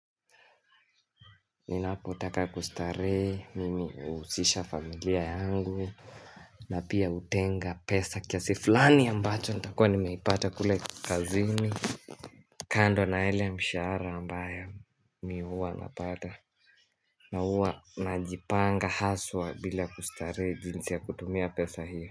Ninapotaka kustarehe mimi huhusisha familia yangu na pia hutenga pesa kiasi fulani ambacho nitakuwa nimepata kule kazini kando na ile mshahara ambayo mi huwa napata, na huwa najipanga haswa bila kustarehe jinsi ya kutumia pesa hiyo.